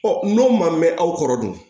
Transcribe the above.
n'o man mɛn aw kɔrɔ dun